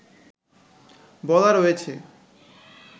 বলা রয়েছে